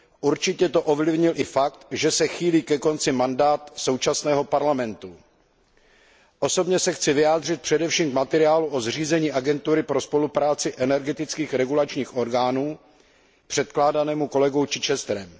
Určitě to ovlivnil i fakt, že se chýlí ke konci mandát současného Parlamentu. Osobně se chci vyjádřit především k materiálu o zřízení Agentury pro spolupráci energetických regulačních orgánů předkládanému kolegou Chichesterem.